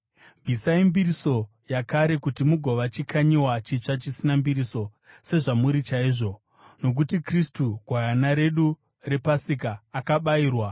Bvisai mbiriso yakare kuti mugova chikanyiwa chitsva chisina mbiriso, sezvamuri chaizvo. Nokuti Kristu, gwayana redu rePasika, akabayirwa.